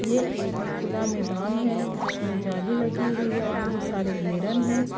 یہ ایک خلا میدان ہے جسمے جالی لگی ہوئی ہے بہت سارے گھیرن ہے۔